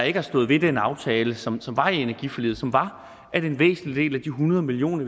ikke har stået ved den aftale som som var i energiforliget og som var at en væsentlig del af de hundrede million